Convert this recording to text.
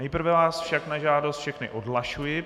Nejprve vás však na žádost všechny odhlašuji.